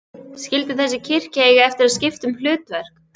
Skyldi þessi kirkja eiga eftir að skipta um hlutverk?